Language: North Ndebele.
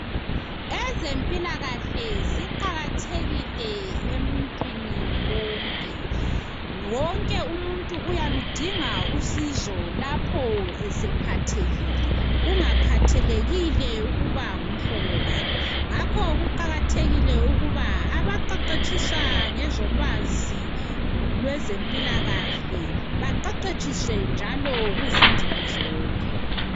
Ezempilakahle ziqakathekile emuntwini wonke. Wonke umuntu uyaludinga usizo lapho esephathekile kungakhathalekile ukuba ngumhlobo bani. Ngakho kuqakathekile ukuba abaqeqetshisa ngezolwazi lwezempilakahle beqeqetshiswe njalo kuzindimi zonke.